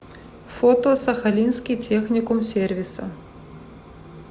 фото сахалинский техникум сервиса